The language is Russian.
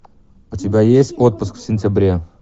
у тебя есть отпуск в сентябре